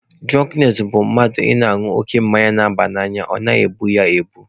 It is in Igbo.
Dụrọnknes bụ mmadụ ịṅụ oke mmanya na-aba n'anya ọ na-egbu ya egbu.